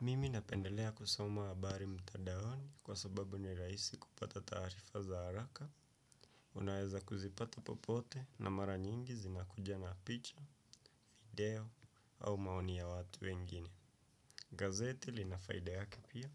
Mimi napendelea kusoma habari mtadaoni kwa sababu ni rahisi kupata taarifa za haraka. Unaweza kuzipata popote na mara nyingi zinakuja na picha, video au maoni ya watu wengine. Gazeti lina faida yake pia.